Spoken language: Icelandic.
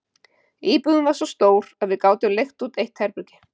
Íbúðin var svo stór að við gátum leigt út eitt herbergi.